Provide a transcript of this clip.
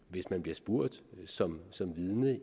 hvis man bliver spurgt som som vidne